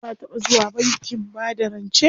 Ka taɓa zuwa bankin bada rance?